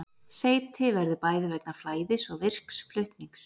Seyti verður bæði vegna flæðis og virks flutnings.